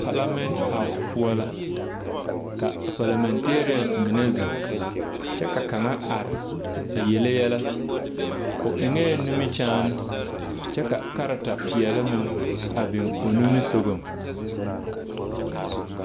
Parliament house poɔ la ka a parliamentarian zeŋ ka kaŋa are,a yele yɛlɛ, o eŋ la nimiri kyaane, kyɛ ka karata peɛ meŋ a biŋ o nimiri-sɔglɔ.